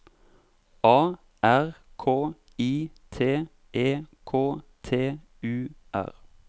A R K I T E K T U R